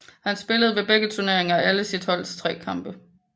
Han spillede ved begge turneringer alle sit holds tre kampe